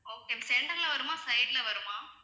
okay center ல வருமா side ல வருமா?